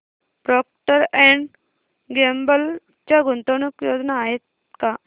Procter and Gamble च्या गुंतवणूक योजना आहेत का